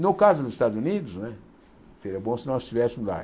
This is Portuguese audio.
No caso dos Estados Unidos né, seria bom se nós estivéssemos lá.